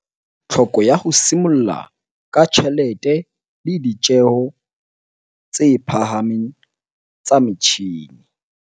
Tlhoko ya ho simolla ka tjhelete le ditjeo tse phahameng tsa metjhine